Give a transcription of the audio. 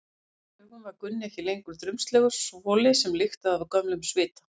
Í hennar augum var Gunni ekki lengur drumbslegur svoli sem lyktaði af gömlum svita.